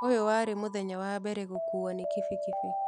ũyũ warĩ mũthenya wa mbere gũkuo nĩ kibikibi.